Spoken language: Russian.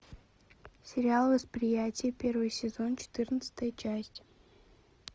сериал восприятие первый сезон четырнадцатая часть